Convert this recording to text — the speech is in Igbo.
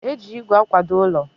e ji igwe akwado ụlọ.